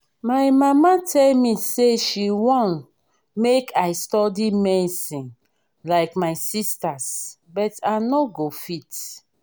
my mama tell me say she wan make i study medicine like my sisters but i no go fit